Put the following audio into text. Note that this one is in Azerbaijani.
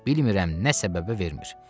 Bilmirəm nə səbəbə vermir.